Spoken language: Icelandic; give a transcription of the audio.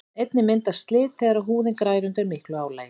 einnig myndast slit þegar húðin grær undir miklu álagi